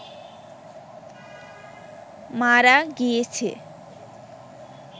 মারা গিয়েছে